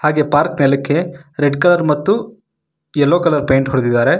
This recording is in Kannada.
ಹಾಗೆ ಪಾರ್ಕ್ ನೆಲಕ್ಕೆ ರೆಡ್ ಕಲರ್ ಮತ್ತು ಯಲ್ಲೋ ಕಲರ್ ಪೇಂಟ್ ಹೊಡದಿದಾರೆ.